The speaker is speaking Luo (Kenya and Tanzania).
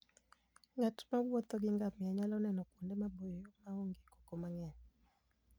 Ng'at mowuotho gi ngamia nyalo neno kuonde maboyo ma onge koko mang'eny.